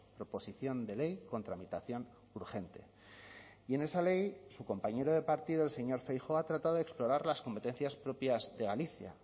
proposición de ley con tramitación urgente y en esa ley su compañero de partido el señor feijóo ha tratado de explorar las competencias propias de galicia